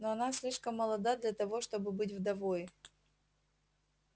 но она слишком молода для того чтобы быть вдовой